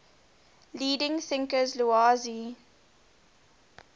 leading thinkers laozi